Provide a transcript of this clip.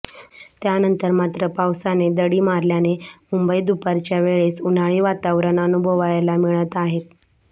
त्यानंतर मात्र पावसाने दडी मारल्याने मुंबईत दुपारच्या वेळेस उन्हाळी वातावरण अनुभवायला मिळत आहे